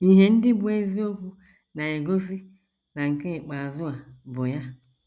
Ihe ndị bụ́ eziokwu na - egosi na nke ikpeazụ a bụ ya.